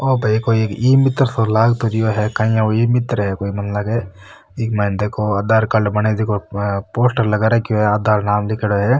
ओ भाई कोई इमितर सो लाग तो रियो है काई यो ईमितर है मन लाग इक माइन देखो आधार कार्ड बने झको पोस्टर लगा रहो है आधार नाम लिखेड़ो हैं।